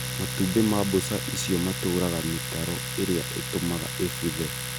Matumbĩ ma mbũca icio matũraga mĩtaro ĩrĩa ĩtũmaga ĩbuthe